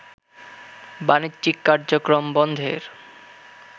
বাণিজ্যিক কার্যক্রম বন্ধের